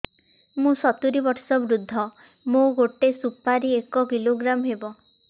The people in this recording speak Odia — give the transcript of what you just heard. ମୁଁ ସତୂରୀ ବର୍ଷ ବୃଦ୍ଧ ମୋ ଗୋଟେ ସୁପାରି ଏକ କିଲୋଗ୍ରାମ ହେବ